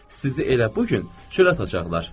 Sizi elə bu gün çörə atacaqlar.